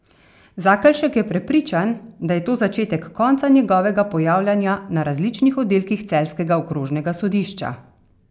Zakelšek je prepričan, da je to začetek konca njegovega pojavljanja na različnih oddelkih celjskega okrožnega sodišča.